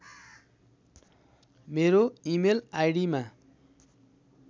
मेरो इमेल आईडिमा